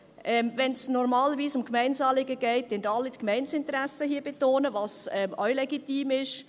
Wenn es normalerweise um Gemeindezahlungen geht, betonen hier im Grossen Rat alle die Gemeindeinteressen, was auch legitim ist.